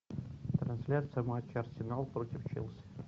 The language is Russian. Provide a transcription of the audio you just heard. трансляция матча арсенал против челси